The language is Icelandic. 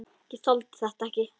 Ég þoldi þetta ekki.